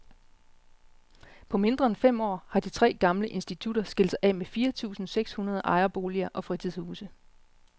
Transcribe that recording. På mindre end fem år har de tre gamle institutter skilt sig af med fire tusinde seks hundrede ejerboliger og fritidshuse.